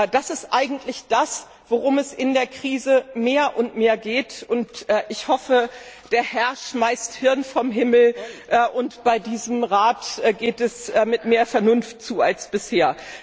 Das ist es eigentlich, worum es in der Krise mehr und mehr geht. Ich hoffe, der Herr schmeißt Hirn vom Himmel und bei diesem Rat geht es mit mehr Vernunft zu als bisher.